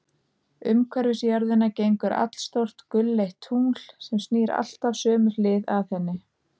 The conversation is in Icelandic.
Umhverfis jörðina gengur allstórt gulleitt tungl, sem snýr alltaf sömu hlið að henni.